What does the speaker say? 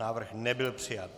Návrh nebyl přijat.